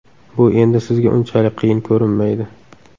Bu endi sizga unchalik qiyin ko‘rinmaydi.